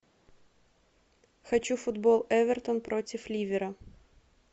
хочу футбол эвертон против ливера